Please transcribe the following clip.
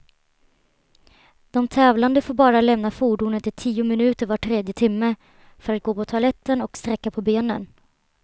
De tävlande får bara lämna fordonet i tio minuter var tredje timme, för att gå på toaletten och sträcka på benen.